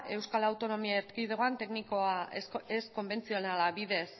euskal autonomia erkidegoan teknika ez konbentzionala bidez